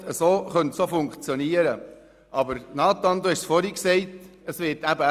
So könnte es auch funktionieren, aber Nathan Güntensperger hat es vorhin erwähnt: